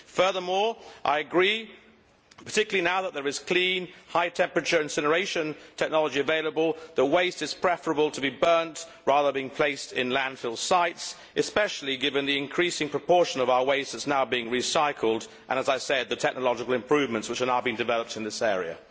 Furthermore I agree, particularly now that there is clean, high temperature incineration technology available, that it is preferable to burn waste rather than placing it in landfill sites, especially given the increasing proportion of our waste that is now being recycled and, as I said, the technological improvements which are now being developed in this area.